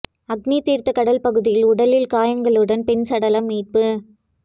அக்னி தீா்த்த கடல் பகுதியில் உடலில் காயங்களுடன் பெண் சடலம் மீட்பு